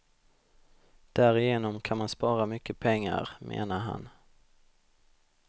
Därigenom kan man spara mycket pengar, menar han.